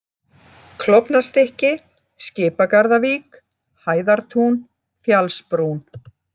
Klofnastykki, Skipagarðavík, Hæðartún, Fjallsbrún